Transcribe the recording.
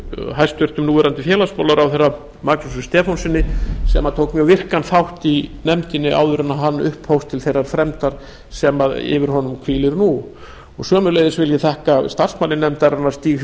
hæstvirtur núverandi félagsmálaráðherra magnúsi stefánssyni sem tók mjög virkan þátt í nefndinni áður en hann upphófst til þeirrar fremdar sem yfir honum hvílir nú sömuleiðis vil ég þakka starfsmanni nefndarinnar stíg